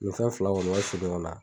Nin fɛn fila in kɔni ka ka surun ɲɔgɔn na